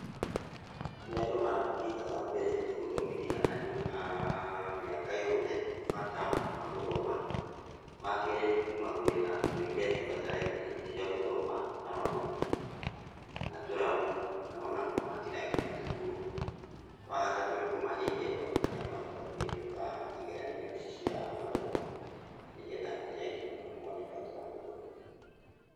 Ũrĩa andũ mangĩka wa mbere nĩ gũthomithia andũ a mĩaka yothe, bata wa gũthoma. Wakerĩ nĩkũmagũrĩra indo iria ibatarainie cia gũthoma ta mabuku, na tũramu kana ona kũmakĩra nginya thukuru. Wagatatũ nĩ kũmahe iheo arĩa mahota kũhetũka igeranio cia mathomo, nĩgetha aria angĩ mone bata wa gĩthomo.